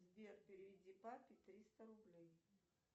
сбер переведи папе триста рублей